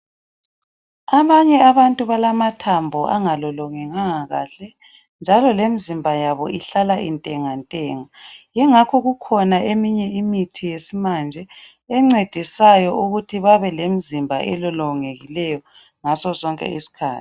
Abanye abantu balamathambo angalolongekanga kahle njalo lemizimba yabo ihlala intengantenga yingakho kukhona eminye imithi yesimanje encedisayo ukut babelemizimba elolongekileyo ngaso sonke iskhathi